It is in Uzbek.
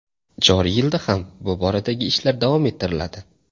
Joriy yilda ham bu boradagi ishlar davom ettiriladi.